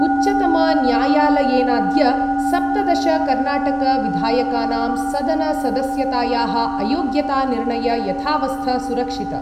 उच्चतमन्यायालयेनाद्य सप्तदशकर्णाटकविधायकानां सदनसदस्यतायाः अयोग्यतानिर्णय यथावस्थ सुरक्षित।